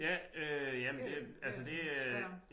Ja øh jamen det altså det øh